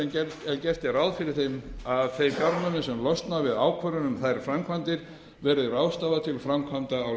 er ráð fyrir að þeim fjármunum sem losna við ákvörðun um þær framkvæmdir verði ráðstafað til framkvæmda á